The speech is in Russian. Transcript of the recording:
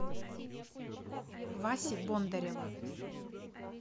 васи бондарева